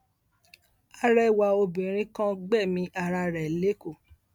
àrẹwà obìnrin kan gbẹmí ara rẹ lẹkọọ